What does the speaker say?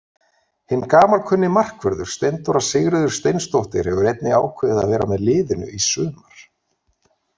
Hinn gamalkunni markvörður Steindóra Sigríður Steinsdóttir hefur einnig ákveðið að vera með liðinu í sumar.